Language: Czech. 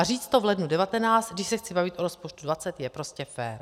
A říct to v lednu 2019, když se chci bavit o rozpočtu 2020, je prostě fér.